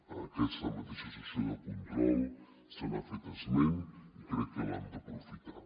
a aquesta mateixa sessió de control se n’ha fet esment i crec que l’hem d’aprofitar